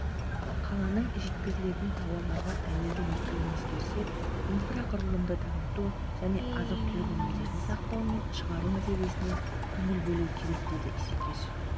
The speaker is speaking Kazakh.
қаланың жеткізілетін тауарларға тәуелді екенін ескерсек инфрақұрылымды дамыту және азық-түлік өнімдерін сақтау мен шығару мәселесіне көңіл бөлу керек деді исекешев